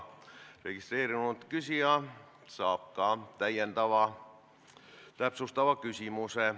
Registreerunud küsija saab esitada ka täpsustava lisaküsimuse.